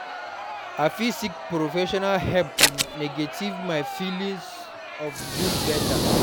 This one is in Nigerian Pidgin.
I fit seek professional help to navigate my feelings of guilt better.